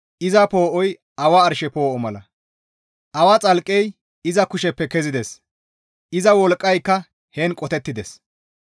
Iza poo7oy awa arshe poo7o mala; awa xalqqey iza kusheppe kezides; iza wolqqayka heen qotettides.